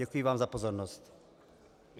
Děkuji vám za pozornost.